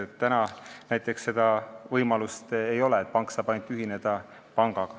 Praegu näiteks seda võimalust ei ole: pank saab ühineda ainult pangaga.